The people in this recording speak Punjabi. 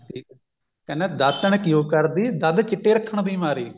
ਕਹਿੰਦਾ ਦਾਤਣ ਕਿਉਂ ਕਰਦੀ ਦੰਦ ਚਿੱਟੇ ਰੱਖਣ ਦੀ ਮਾਰੀ